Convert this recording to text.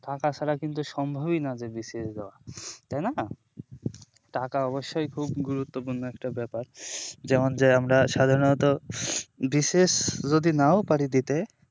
টাকা ছাড়া কিন্তু সম্ভবই না যে BCS দেওয়া তাই না টাকা অবশ্যই খুব গুরুত্বপূর্ণ একটা ব্যাপার যেমন যে আমরা সাধারণত BCS যদি নাও পারি দিতে